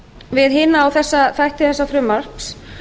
við hina og þessa þætti þessa frumvarps